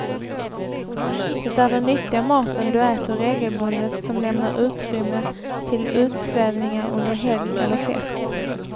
Det är den nyttiga maten du äter regelbundet som lämnar utrymme till utsvävningar under helg eller fest.